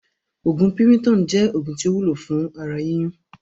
Oògún PIRITON jẹ́ oògùn tí ó wúlò fún ara yíyún